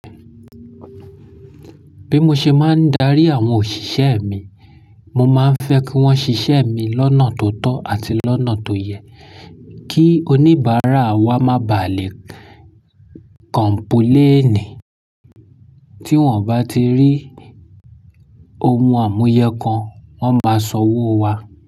Bí mo ṣe máa ń darí àwọn òṣìṣẹ́ mi, mo máa ń fẹ́ kí wọ́n ṣiṣẹ́ mi lọ́nà tó tọ́ àti lọ́nà tó yẹ kí oníbàárà wa má bà lé kọ̀mpúlẹ́ẹ̀ní. Tí wọ́n bá ti rí ohun àmúyẹ kan, wọ́n máa sanwó wá.